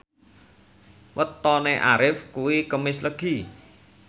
wetone Arif kuwi Kemis Legi